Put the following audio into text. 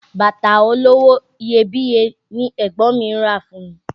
Bàtà olówó iyebíye ni ẹ̀gbọ́n mi rà fún mi